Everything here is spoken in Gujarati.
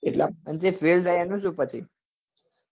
અને જે fail થાય એનું